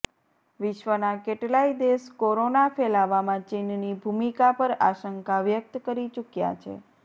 વિશ્વના કેટલાય દેશ કોરોના ફેલાવામાં ચીનની ભૂમિકા પર આશંકા વ્યક્ત કરી ચૂક્યા છે